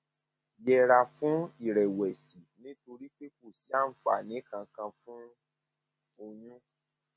yẹra fún ìrẹwẹsì nítorí pé kò sí àǹfààní kankan fún oyún